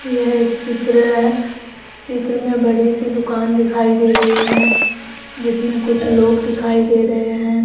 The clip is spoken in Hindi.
यह एक चित्र है चित्र मे बडी सी दुकान दिखाई दे रही है जिसमे कुछ लोग दिखाई दे रहे हैं।